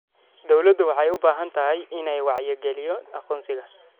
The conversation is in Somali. Dawladdu waxay u baahan tahay inay wacyigaliyo aqoonsiga.